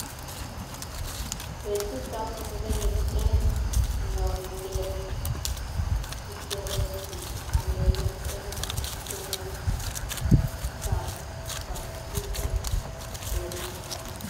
petut ap murenik en Ngwondet. Kisereti murenik en komostap kapchi en korik.